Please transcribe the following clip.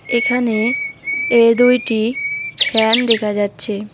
এখানে এ দুইটি ফ্যান দেখা যাচ্চে।